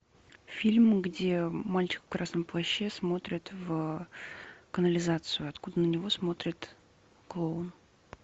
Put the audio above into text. фильм где мальчик в красном плаще смотрит в канализацию откуда на него смотрит клоун